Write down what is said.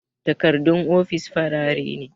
Takardun ofis farare ne